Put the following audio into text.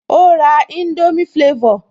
Ó ra indomie flavor